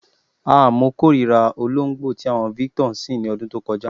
Ah! Mo kórìírà olóǹgbó tí àwo̩n Victor ń sìn ní o̩dún tó ko̩já.